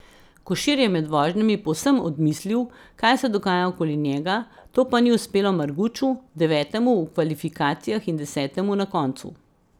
Košir je med vožnjami povsem odmislil, kaj se dogaja okoli njega, to pa ni uspelo Marguču, devetemu v kvalifikacijah in desetemu na koncu.